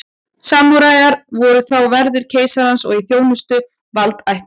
samúræjar voru þá verðir keisarans og í þjónustu valdaætta